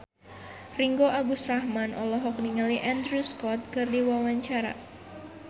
Ringgo Agus Rahman olohok ningali Andrew Scott keur diwawancara